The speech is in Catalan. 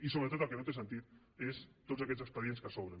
i sobretot el que no té sentit són tots aquests expedients que s’obren